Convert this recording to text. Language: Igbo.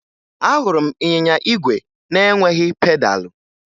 Ahụrụ m ịnyịnya igwe na-enweghi pedalụ